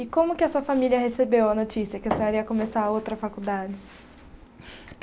E como que a sua família recebeu a notícia que a senhora ia começar outra faculdade?